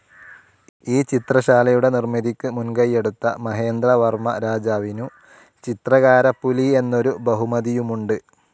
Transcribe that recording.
ഈ ചിത്രശാലയുടെ നിർമിതിക്ക് മുൻകൈയെടുത്ത മഹേന്ദ്രവർമ രാജാവിനു ചിത്രകാരപ്പുലി എന്നൊരു ബഹുമതിയുമുണ്ട്.